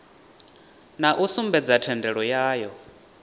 na u sumbedza thendelo yayo